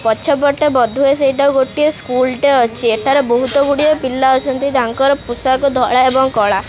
ପଛ ପଟେ ବୋଧ ହୁଏ ସେଇଟା ଗୋଟିଏ ସ୍କୁଲ ଟେ ଅଛି ଏଠାରେ ବହୁତ ଗୁଡିଏ ପିଲା ଅଛନ୍ତି ତାଙ୍କର ପେଷାକ ଧଳା ଏବଂ କଳା।